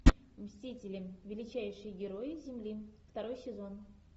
мстители величайшие герои земли второй сезон